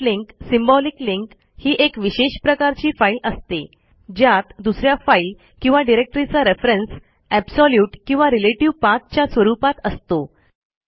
soft link symbolic link ही एक विशेष प्रकारची फाईल असते ज्यात दुस या फाईल किंवा डिरेक्टरीचा रेफरन्स एब्सोल्यूट किंवा रिलेटिव्ह पाठ च्या स्वरूपात असतो